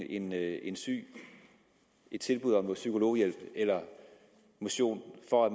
en en syg et tilbud om psykologhjælp eller motion for at